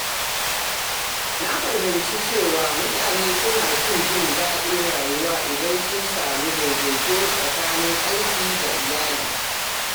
Na fahimci cewa mutane suna fi jin daɗin rayuwa idan sun samu daidaito tsakanin aiki da iyali.